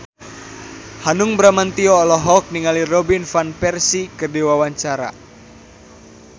Hanung Bramantyo olohok ningali Robin Van Persie keur diwawancara